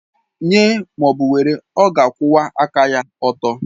Nye ma ọ bụ were, ọ ga-akwụwa aka ọtọ.